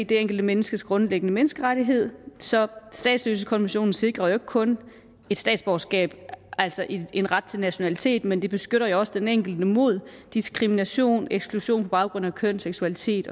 det enkelte menneskes grundlæggende menneskerettigheder så statsløsekonventionen sikrer jo ikke kun et statsborgerskab altså en en ret til nationalitet men den beskytter også den enkelte mod diskrimination og eksklusion på baggrund af køn seksualitet